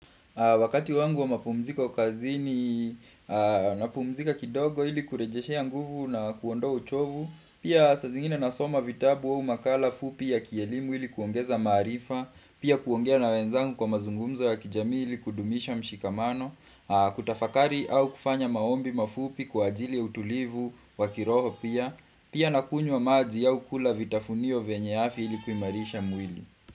Wakati wangu wa mapumziko kazini na pumzika kidogo ili kurejeshea ya nguvu na kuwondoa uchovu, pia saa zingine nasoma vitabu au makala fupi ya kielimu ili kuongeza maarifa, pia kuongea na wenzangu kwa mazungumzo wa kijamii ili kudumisha mshikamano, kutafakari au kufanya maombi mafupi kwa ajili ya utulivu wa kiroho pia, pia nakunywa wa maaji au kula vitafunio venyeafi ili kuhimarisha mwili.